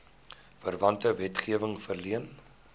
verwante wetgewing verleen